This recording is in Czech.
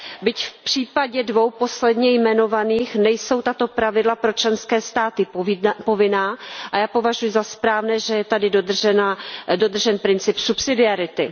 Byť v případě dvou posledně jmenovaných nejsou tato pravidla pro členské státy povinná a já považuji za správné, že je tady dodržen princip subsidiarity.